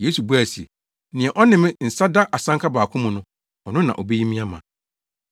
Yesu buae se, “Nea ɔne me nsa da asanka baako mu no, ɔno na obeyi me ama.